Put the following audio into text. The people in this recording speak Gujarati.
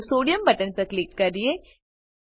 ચાલો સોડિયમ બટન પર ક્લિક કરીએ